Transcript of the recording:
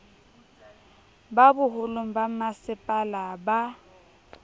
ba boholong ba bommasepala ba